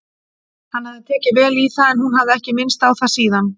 Hann hafði tekið vel í það en hún hafði ekki minnst á það síðan.